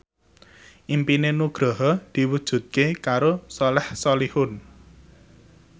impine Nugroho diwujudke karo Soleh Solihun